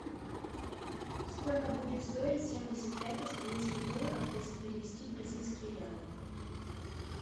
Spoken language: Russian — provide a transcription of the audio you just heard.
сколько будет стоить семьдесят пять австралийских долларов если перевести в бразильские реалы